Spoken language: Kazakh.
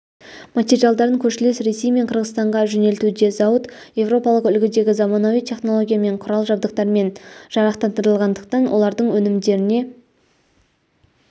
материалдарын көршілес ресей мен қырғызстанға жөнелтуде зауыт еуропалық үлгідегі заманауи технологиямен құрал-жабдықтарымен жарақтандырылғандықтан олардың өнімдеріне